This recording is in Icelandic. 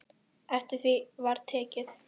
Eftir því var tekið.